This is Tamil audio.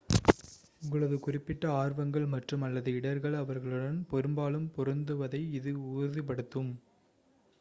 உங்களது குறிப்பிட்ட ஆர்வங்கள் மற்றும்/அல்லது இடர்கள் அவர்களுடன் பெரும்பாலும் பொருந்துவதை இது உறுதிப்படுத்தும்